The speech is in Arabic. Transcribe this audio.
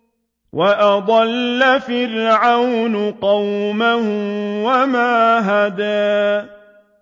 وَأَضَلَّ فِرْعَوْنُ قَوْمَهُ وَمَا هَدَىٰ